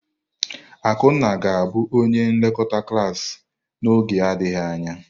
Akunna ga-abụ onye nlekọta klas n'oge adịghị anya.